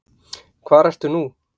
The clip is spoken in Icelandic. Hvar ertu nú?